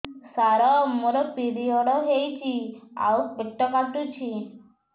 ସାର ମୋର ପିରିଅଡ଼ ହେଇଚି ଆଉ ପେଟ କାଟୁଛି